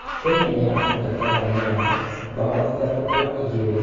Kenya nĩyabũnga Tathania mbao Ithatũ kwa ĩgĩrĩ.